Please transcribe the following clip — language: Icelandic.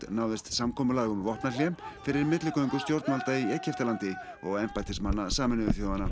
náðist samkomulag um vopnahlé fyrir milligöngu stjórnvalda í Egyptalandi og embættismanna Sameinuðu þjóðanna